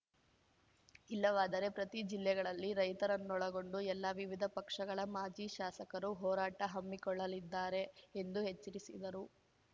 ಇಲ್ಲವಾದರೆ ಪ್ರತಿ ಜಿಲ್ಲೆಗಳಲ್ಲಿ ರೈತರನ್ನೊಳಗೊಂಡು ಎಲ್ಲಾ ವಿವಿಧ ಪಕ್ಷಗಳ ಮಾಜಿ ಶಾಸಕರು ಹೋರಾಟ ಹಮ್ಮಿಕೊಳ್ಳಲಿದ್ದಾರೆ ಎಂದು ಎಚ್ಚರಿಸಿದರು